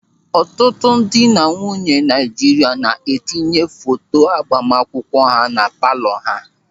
Ọtụtụ dị na nwunye Naịjirịa na-etinye foto agbamakwụkwọ ha na palọ ha.